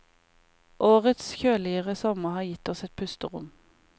Årets kjøligere sommer har gitt oss et pusterom.